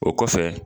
O kɔfɛ